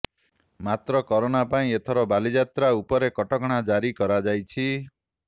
ମାତ୍ର କରୋନା ପାଇଁ ଏଥର ବାଲିଯାତ୍ରା ଉପରେ କଟକଣା ଜାରି କରାଯାଇଛି